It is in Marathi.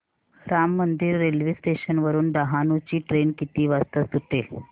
राम मंदिर रेल्वे स्टेशन वरुन डहाणू ची ट्रेन किती वाजता सुटेल